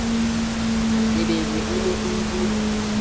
lebelwe e ne e le